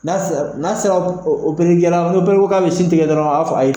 N'a sera n'a sera ni k'a bi sin tigɛ dɔrɔn a b'a fɔ ko